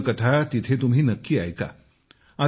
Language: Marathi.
संपूर्ण कथा तिथे तुम्ही नक्की ऐका